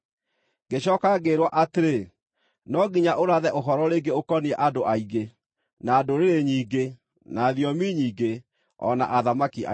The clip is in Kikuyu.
Ngĩcooka ngĩĩrwo atĩrĩ, “No nginya ũrathe ũhoro rĩngĩ ũkoniĩ andũ aingĩ, na ndũrĩrĩ nyingĩ, na thiomi nyingĩ, o na athamaki aingĩ.”